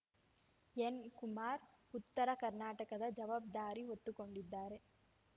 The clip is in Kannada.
ಎನ್‌ ಕುಮಾರ್‌ ಉತ್ತರ ಕರ್ನಾಟಕದ ಜವಾಬ್ದಾರಿ ಹೊತ್ತುಕೊಂಡಿದ್ದಾರೆ